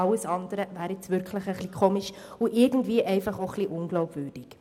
Alles andere wäre nun wirklich eigenartig und irgendwie auch ein wenig unglaubwürdig.